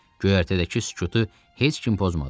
Göyərtədəki sükutu heç kim pozmadı.